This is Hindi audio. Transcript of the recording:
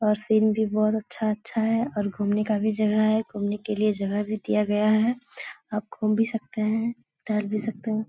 और सीन भी बहुत अच्छा-अच्छा है और घूमने का भी जगह है घूमने के लिए जगह भी दिया गया है आप घूम भी सकते हैं टहल भी सकते हैं।